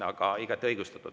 Aga igati õigustatud.